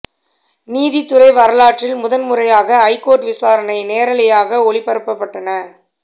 நீதித்துறை வரலாற்றில் முதல் முறையாக ஐகோர்ட் விசாரணை நேரலையாக ஒளிபரப்பப்பட்டன